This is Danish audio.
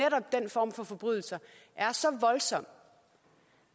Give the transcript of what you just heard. form for forbrydelser er så voldsomme